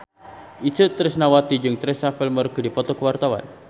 Itje Tresnawati jeung Teresa Palmer keur dipoto ku wartawan